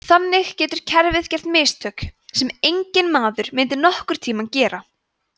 þannig getur kerfið gert mistök sem enginn maður myndi nokkurn tíma gera